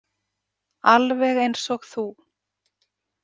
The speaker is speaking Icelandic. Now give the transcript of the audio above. Alveg eins og þú.